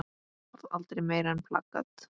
Varð aldrei meira en plakat.